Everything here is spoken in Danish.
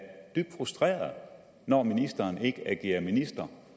dybt frustreret når ministeren ikke agerer minister